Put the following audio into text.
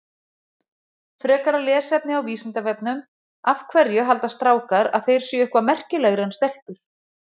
Frekara lesefni á Vísindavefnum Af hverju halda strákar að þeir séu eitthvað merkilegri en stelpur?